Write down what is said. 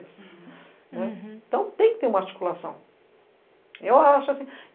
Então tem que ter uma articulação. Eu acho assim.